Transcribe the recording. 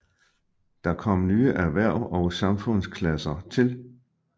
Der kom nye erhverv og samfundsklasser til